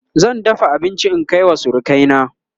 zan dafa abinci in Kai wa surukai na